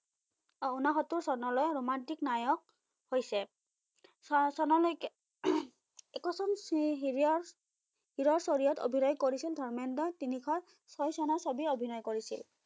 আহ উনসত্তৰ চনলৈ ৰোমন্তিক নায়ক হৈছে। ফাচনলৈকে একোজন হিৰিয়াৰ হিৰৰ চৰিয়ত অভিনয় কৰিছল ধৰ্মেন্দ্ৰই তিনিশ ছয় চনৰ ছবি অভিনয় কৰিছিল